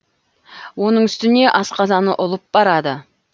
оның үстіне асқазаны ұлып барады